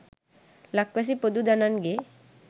ලක්වැසි පොදු දනන්ගේ